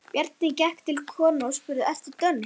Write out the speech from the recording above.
Bjarni gekk til konunnar og spurði: Ertu dönsk?